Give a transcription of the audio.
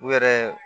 U yɛrɛ